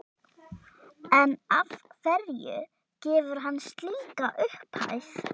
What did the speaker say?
En af hverju gefur hann slíka upphæð?